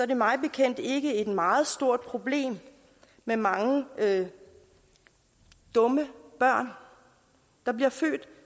der mig bekendt ikke et meget stort problem med mange dumme børn der blev